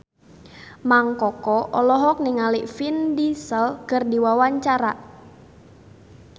Mang Koko olohok ningali Vin Diesel keur diwawancara